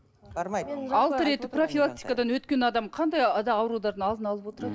бармайды алты рет профилактикадан өткен адам қандай аурулардың алдын алып отырады